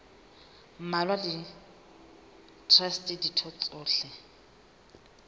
mmalwa le traste ditho tsohle